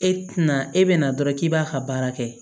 E tɛna e bɛ na dɔrɔn k'i b'a ka baara kɛ